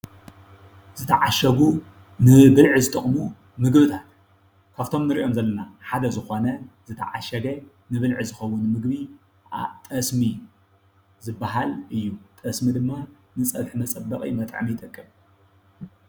ዝተዓሸጉ ንብልዒ ዝጠቕሙ ምግብታት ካፍቶም ንሪኦም ዘለና ሓደ ዝኾነ ዝተዓሸገ ንብልዒ ዝኸዉን ምግቢ ጠስሚ ዝብሃል እዩ። ጠስሚ ድማ ንፀብሒ መፀበቒ መጥዐሚ ይጠቅም።